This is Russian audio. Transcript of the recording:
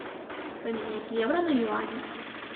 поменять евро на юани